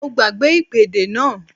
Mo gbàgbé ìpèdè náà